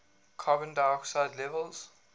carbon dioxide levels